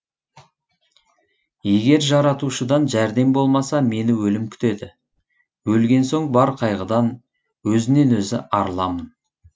егер жаратушыдан жәрдем болмаса мені өлім күтеді өлген соң бар қайғыдан өзінен өзі арыламын